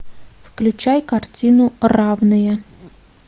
включай картину равные